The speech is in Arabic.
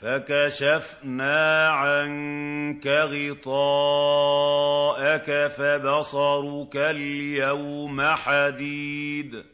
فَكَشَفْنَا عَنكَ غِطَاءَكَ فَبَصَرُكَ الْيَوْمَ حَدِيدٌ